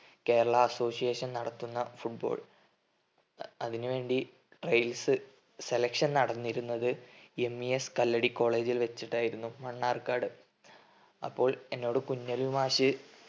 Kerala association നടത്തുന്ന football അതിന് വേണ്ടി trials selection നടന്നിരുന്നത് MES കല്ലടി college ൽ വെച്ചിട്ടായിരുന്നു. മണ്ണാർക്കാട്. അപ്പോൾ എന്നോട് കുഞ്ഞലവി മാഷ്